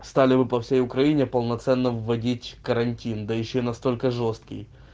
стали бы по всей украине полноценным вводить карантин да ещё настолько жёсткий